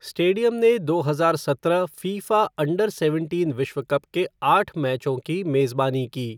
Stadium ने दो हज़ार सत्रह फ़ीफ़ा अंडर सेवनटीन विश्व कप के आठ मैचों की मेजबानी की।